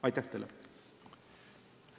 Aitäh teile!